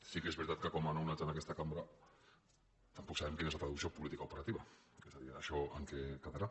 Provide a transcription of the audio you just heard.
sí que és veritat que com a nounats en aquesta cambra tampoc sabem quina és la traducció política operativa és a dir això en què quedarà